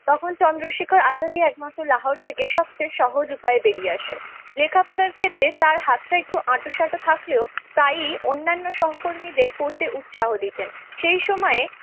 তখন চন্দ্রশেখর আজাদী একমাত্র লাহোর থেকে সবচেয়ে সহজ উপায় বেরিয়ে আসে। লেখাপড়ার ক্ষেত্রেই তার হাতটা একটু আট সাঁট থাকলেও তাই অন্যান্য সহকর্মীদের পড়তে উৎসাহ দিতেন সেই সময়ে